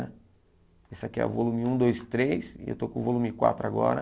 Esse aqui é o volume um, dois, três e eu estou com o volume quatro agora.